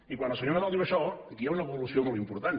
i quan el senyor nadal diu això aquí hi ha una evolució molt important